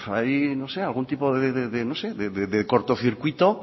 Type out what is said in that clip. hay algún tipo de corto circuito